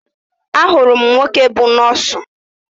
Ahụrụ m nwoke bú nọọsụ